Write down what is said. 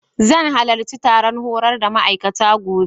Zan halarci taron horar da ma'aikata, gobe.